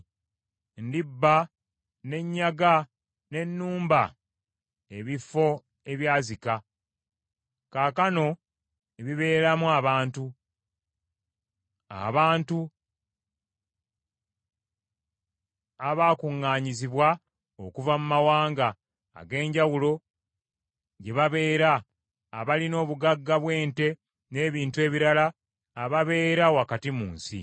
Ndibba ne nnyaga ne nnumba ebifo ebyazika, kaakano ebibeeramu abantu, abantu abaakuŋŋaanyizibwa okuva mu mawanga ag’enjawulo gye babeera, abalina obugagga bw’ente n’ebintu ebirala, ababeera wakati mu nsi.”